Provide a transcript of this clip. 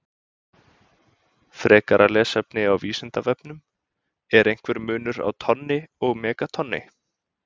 Frekara lesefni á Vísindavefnum: Er einhver munur á tonni og megatonni?